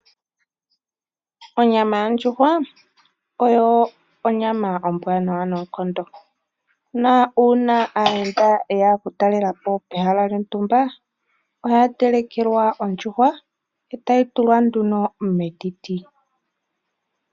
Onyama yondjuhwa oyo onyama ombwaanawa noonkondo uuna aayenda yeya okutalelapo pehala lyontumba ohaya telekelwa ondjuhwa e tayi tulwa metiti.